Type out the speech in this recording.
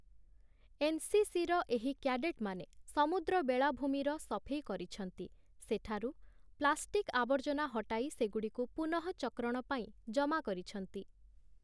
ଏନ୍‌.ସି.ସି.ର ଏହି କ୍ୟାଡେଟ୍‌ମାନେ ସମୁଦ୍ର ବେଳାଭୂମିର ସଫେଇ କରିଛନ୍ତି । ସେଠାରୁ ପ୍ଲାଷ୍ଟିକ୍ ଆବର୍ଜନା ହଟାଇ ସେଗୁଡ଼ିକୁ ପୁନଃଚକ୍ରଣ ପାଇଁ ଜମା କରିଛନ୍ତି ।